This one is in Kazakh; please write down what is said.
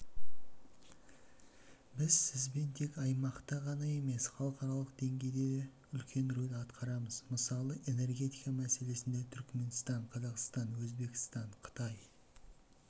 біз сізбен тек аймақта ғана емес халықаралық деңгейде де үлкен рөл атқарамыз мысалы энергетика мәселесінде түркменстан-қазақстан-өзбекстан-қытай